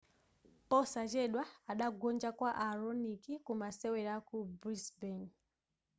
posachedwa adagonja kwa a raonic ku masewera aku brisbane